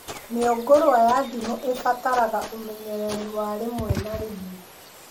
Mĩũngũrwa ya ndimũ ĩbataraga ũmenyereri wa rĩmwe na rĩmwe